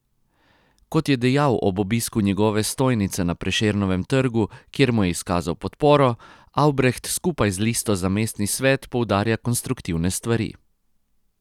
Kot je dejal ob obisku njegove stojnice na Prešernovem trgu, kjer mu je izkazal podporo, Avbreht skupaj z listo za mestni svet poudarja konstruktivne stvari.